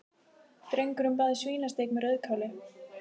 Drengurinn bað um svínasteik með rauðkáli.